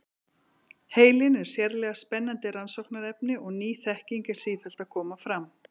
Heilinn er sérlega spennandi rannsóknarefni og ný þekking er sífellt að koma fram.